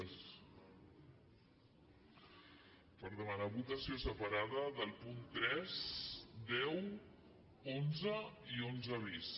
per demanar votació separada dels punts tres deu onze i onze bis